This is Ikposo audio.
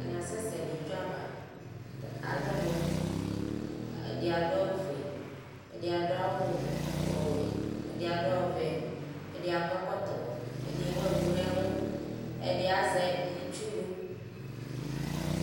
Atani asɛsɛ nʋ itsʋ ava alʋ ɔnʋ ɛdini adʋ awʋfue ɛdi adʋ awʋ ɔwɛ ɛdi adʋ ɔvɛ ɛdi akɔ ɛkɔtɔ ɛdi ewʋ ɛkʋ nʋ ɛlʋ ɛdi azɛ itsʋ